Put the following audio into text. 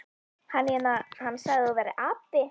Hann hérna. hann sagði að þú værir api.